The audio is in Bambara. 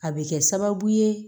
A bɛ kɛ sababu ye